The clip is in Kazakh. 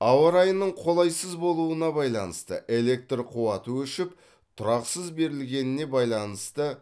ауа райының қолайсыз болуына байланысты электр қуаты өшіп тұрақсыз берілгеніне байланысты